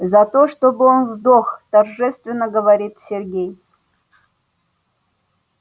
за то чтобы он сдох торжественно говорит сергей